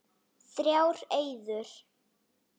Þrjár eyður.